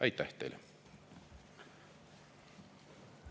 Aitäh teile!